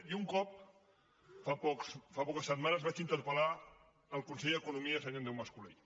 jo un cop fa poques setmanes vaig interpel·lar el conseller d’economia senyor andreu mas colell